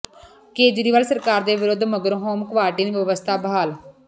ਕੇਜਰੀਵਾਲ ਸਰਕਾਰ ਦੇ ਵਿਰੋਧ ਮਗਰੋਂ ਹੋਮ ਕੁਆਰੰਟਾਈਨ ਵਿਵਸਥਾ ਬਹਾਲ